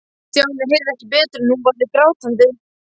Stjáni heyrði ekki betur en hún væri grátandi.